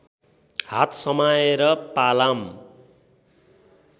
हात समाएर पालाम